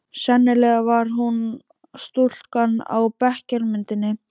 Sennilega var hún stúlkan á bekkjarmyndinni.